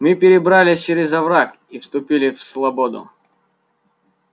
мы перебрались через овраг и вступили в слободу